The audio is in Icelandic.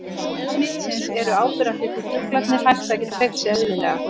Einkenni smitsins eru áberandi því fuglarnir hætta að geta hreyft sig eðlilega.